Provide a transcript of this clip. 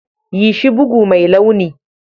Yi shi bugu mai launi.